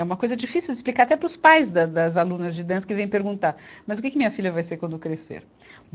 É uma coisa difícil de explicar até para os pais da, das alunas de dança que vêm perguntar, mas o que, que minha filha vai ser quando crescer?